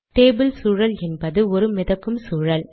table சூழல் என்பது ஒரு மிதக்கும் சூழல்